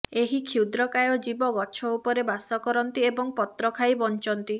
ଏହି କ୍ଷୁଦ୍ରକାୟ ଜୀବ ଗଛ ଉପରେ ବାସ କରନ୍ତି ଏବଂ ପତ୍ର ଖାଇ ବଞ୍ଚନ୍ତି